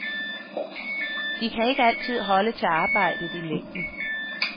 De kan ikke altid holde til arbejdet i længden.